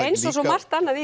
eins og svo margt annað